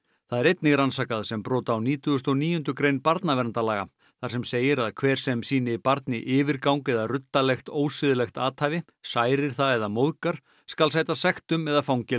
það er einnig rannsakað sem brot á nítugasta og níundu grein barnaverndarlaga þar sem segir að hver sem sýnir barni yfirgang eða ruddalegt ósiðlegt athæfi særir það eða móðgar skal sæta sektum eða fangelsi